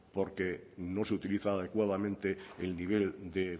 porque no se utiliza adecuadamente el nivel de